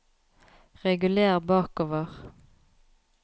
reguler bakover